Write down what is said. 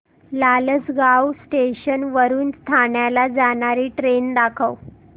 Lasalgaon station वरून ठाण्याला जाणारी ट्रेन दाखव